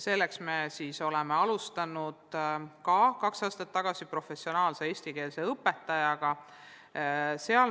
Selleks me oleme alustanud juba kaks aastat tagasi professionaalse eestikeelse õpetaja projekti.